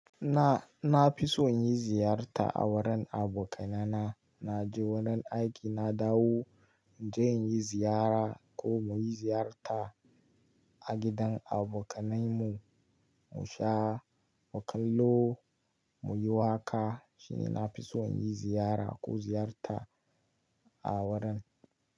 Na, na fi so yin ziyarta a wurin abokanai na. Na je wurin aiki, na dawo, zan yi ziyara ko muyi ziyarta a gidan abokanain mu, mu sha, mu kallo, muyi waƙa. Shine na fi so, yin ziyara ko ziyarta a wurin.